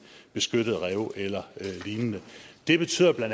beskyttede rev eller lignende det betyder bla